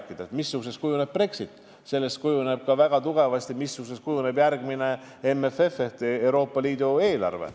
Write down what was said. Sellest, missuguseks kujuneb Brexit, sõltub väga tugevasti ka see, missuguseks kujuneb järgmine MFF ehk Euroopa Liidu eelarve.